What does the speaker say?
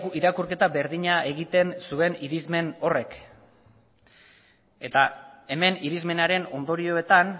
irakurketa berdina egiten zuen irizmen horrek eta hemen irizmenaren ondorioetan